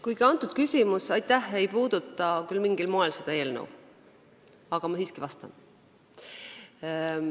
Kuigi see küsimus ei puuduta mingil moel seda eelnõu, ma siiski vastan.